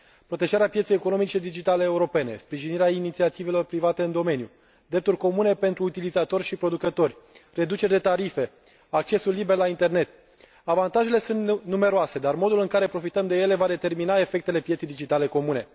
Protejarea pieței economice digitale europene, sprijinirea inițiativelor private în domeniu, drepturi comune pentru utilizatori și producători, reduceri de tarife, accesul liber la internet avantajele sunt numeroase, dar modul în care profităm de ele va determina efectele pieței digitale comune.